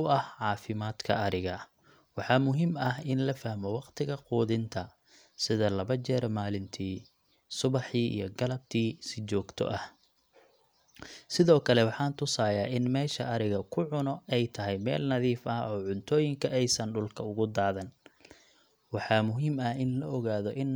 u ah caafimaadka ariga. Waxaa muhiim ah in la fahmo waqtiga quudinta, sida laba jeer maalintii subaxii iyo galabtii si joogto ah. Sidoo kale, waxaan tusayaa in meesha arigu ku cuno ay tahay meel nadiif ah oo cuntooyinka aysan dhulka ugu daadan. Waxaa muhiim ah in la ogaado in